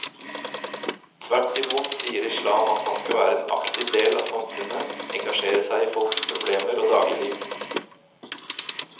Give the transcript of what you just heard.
Tvert imot sier islam at han skal være en aktiv del av samfunnet, engasjere seg i folks problemer og dagligliv.